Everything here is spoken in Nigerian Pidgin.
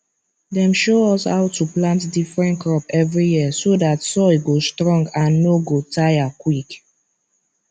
dem show us how to plant different crop every year so that soil go strong and no go tire quick